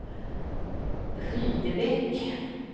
Rydebäck